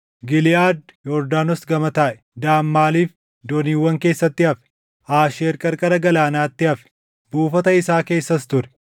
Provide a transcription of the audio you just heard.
Giliʼaad Yordaanos gama taaʼe; Daan maaliif dooniiwwan keessatti hafe? Aasheer qarqara galaanaatti hafe; buufata isaa keessas ture.